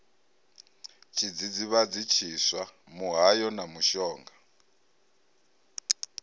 tshidzidzivhadzi tshiswa muhayo na mushonga